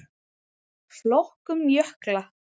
Flokkun jökla